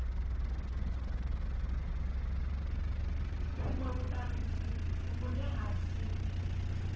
vhunwe vhutanzi vhune ha si